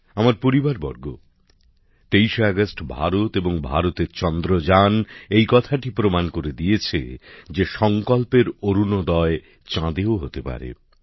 আমার পরিবারবর্গ তেইশে আগস্ট ভারত এবং ভারতের চন্দ্রযান এই কথাটি প্রমাণ করে দিয়েছে যে সংকল্পের অরুণোদয় চাঁদেও হতে পারে